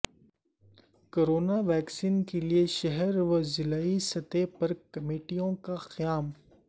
corona vaccine کیلئے شہر و ضلعی سطح پر کمیٹیوں کا قیام